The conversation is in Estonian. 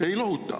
Ei lohuta!